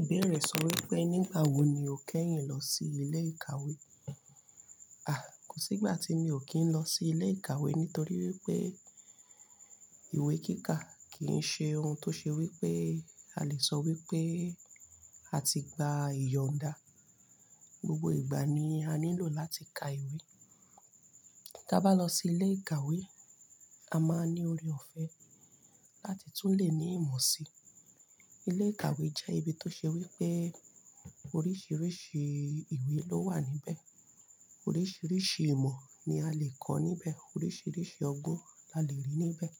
Ìbéèrè sọ wípé nígbà wo ni o kẹ́yìn lọ sí ilé ìkàwé? À, kò sí ìgbà tí mi ò kí ń lọ sí ilé ìkàwé nítorí wípé ìwé kíka kì í ṣe ohun tó ṣe wípé a lè sọ wípé a ti gba ìyọ̀nda. Gbogbo ìgbà ni a nílò láti ka ìwé. Ta bá lọ sí ilé ìkàwé, a máa ní ori òfé láti tún lè ní ìmọ̀ si. Ilé ìkàwé jẹ́ ibi tó ṣe wípé oríṣiríṣi ìwé ló wà níbẹ̀. Oríṣiríṣi ìmọ̀ ni a lè kọ́ níbẹ̀. Oríṣiríṣi ọgbọ́n la lè rí níbẹ̀.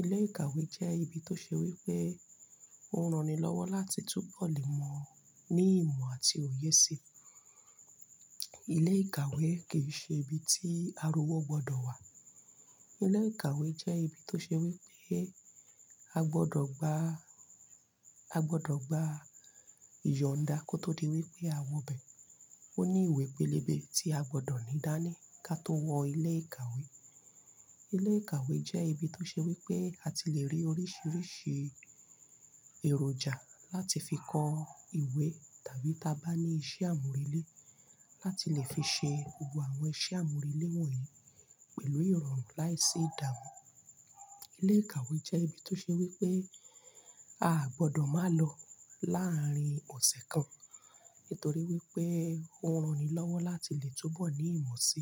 Ilé ìkàwé jẹ́ ibi tó ṣe wípé ó ranilọ́wọ́ láti túbọ̀ lè mọ̀ ní ìmọ̀ àti òye si. Ilé ìkàwé kì í ṣe ibi tí arowó gbọdọ̀ wà. Ilé ìkàwé jẹ́ ibi tó ṣe wípé a gbọdọ̀ gba, a gbọdọ̀ gba ìyọ̀nda kó tó di wípé a wọ bẹ̀. Ó ní ìwé pélébé tí a gbọdọ̀ ní dání ká tó wọ ilé ìkàwé. Ilé ìkàwé jẹ́ ibi tó ṣe wípé a ti lè rí oríṣiríṣi èròjà láti fi kọ ìwé tàbí ta bá ní iṣẹ́ àmúrelé láti lè fi ṣe gbogbo àwọn iṣẹ́ àmúrelé wọ̀nyí pẹ̀lú ìrọ̀rùn láìsí ìdààmú. Ilé ìkàwé jẹ́ ibi tó ṣe wípé a gbọdọ̀ má lọ láàárín ọ̀sẹ̀ kan. Nítorí wípé ó ranilọ́wọ́ láti lè túbọ̀ ní ìmọ̀ si.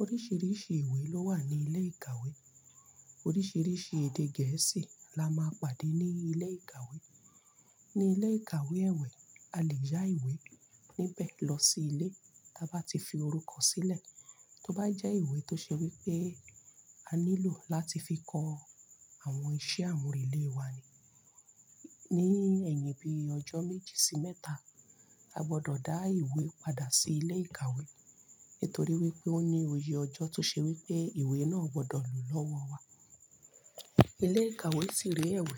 Oríṣiríṣi ìwé ló wà ní ilé ìkàwé. Oríṣiríṣi èdè gẹ̀ẹ́sì la máa pàdé ní ilé ìkàwé. Ni ilé ìkàwé èwé, a lè yá ìwé níbẹ̀ lọ sí ilé ta bá ti fi orúkọ sílẹ̀. Tó bá jẹ́ ìwé tó ṣe wípé a nílò láti fi kọ àwọn iṣẹ́ àmúrelé wa ni. Ni ẹ̀yìn bí ọjọ́ méjì sí mẹ́ta, a gbọdọ̀ dá ìwé padà sí ilé ìkàwé. Nítorí wípé ó ní oye ọjọ́ tó ṣe wípé ìwé náà gbọdọ̀ lò lọ́wọ́ wa. Ilé ìkàwé sì rí ẹ̀wù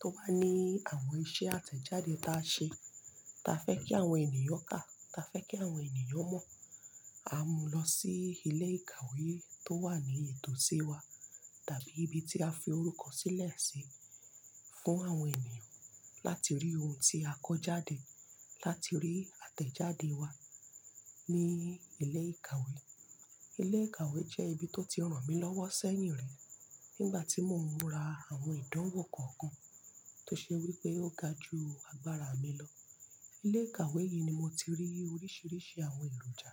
tó bá ní àwọn iṣẹ́ àtẹ̀jáde ta ṣe ta fẹ́ kí àwọn ènìyàn kà, ta fẹ́ kí àwọn ènìyàn mọ̀. A mú lọ sí ilé ìkàwé tó wà ní ètò sí wa tàbí ibi tí a fi orúkọ sílẹ̀ sí fún àwọn ènìyàn láti rí ohun tí a kọ́ jáde, láti rí àtẹ̀jáde wa ní ilé ìkàwé. Ilé ìkàwé jẹ́ ibi tó ti ràn mí lọ́wọ́ sẹ́yìn rí nígbà tí mò ń ra àwọn ìdánwò kọ̀ọ̀kan tó ṣe wípé ó ga ju agbára mi lọ. Ilé ìkàwé yìí ni mo ti rí oríṣiríṣi àwọn èròjà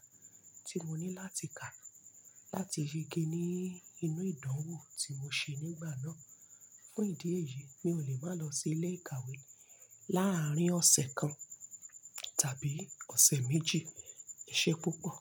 tí mo ní láti kà láti ṣe ge ní inú ìdánwò tí mo ṣe nígbà náà. Fún ìdí èyí, mi ò lè má lọ sí ilé ìkàwé láàárín ọ̀sẹ̀ kan tàbí ọ̀sẹ̀ méjì. Ṣé púpọ̀?